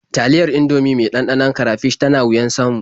Taliyar Indomie mai ɗanɗanon karafish tan wuyar samu.